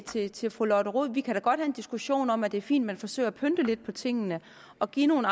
sige til fru lotte rod at vi kan have en diskussion om at det er fint at man forsøger at pynte lidt på tingene og give nogle